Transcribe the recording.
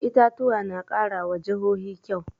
Itatuwa na ƙara wa jihohi kyau